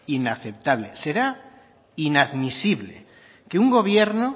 inaceptable será inadmisible que un gobierno